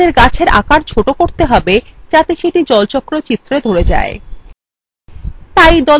এখন আমাদের গাছের আকার ছোট করতে হবে যাতে সেটি জলচক্র চিত্রে ধরে যায়